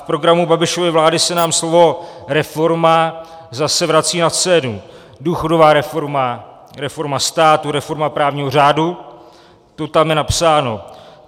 V programu Babišovy vlády se nám slovo reforma zase vrací na scénu - důchodová reforma, reforma státu, reforma právního řádu, to tam je napsáno.